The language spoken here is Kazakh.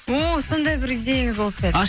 о сондай бір идеяңыз болып па еді